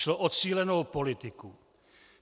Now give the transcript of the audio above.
Šlo o cílenou politiku.